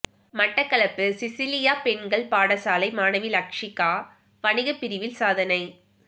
Batticaloa Cecilia பெண்கள் பாடசாலை மாணவி லக்சிகா வணிகபிரிவில் சாதனை